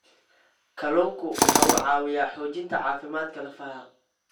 Kalluunku waxa uu caawiyaa xoojinta caafimaadka lafaha.